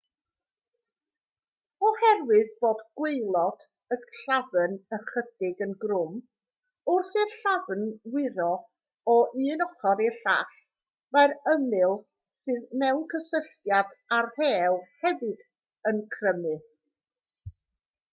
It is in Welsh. oherwydd bod gwaelod y llafn ychydig yn grwm wrth i'r llafn wyro o un ochr i'r llall mae'r ymyl sydd mewn cysylltiad â'r rhew hefyd yn crymu